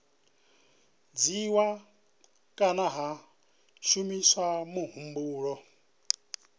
dzhiiwa kana ha shumiswa muhumbulo